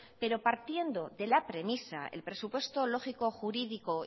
pero partiendo de la premisa el presupuesto lógico jurídico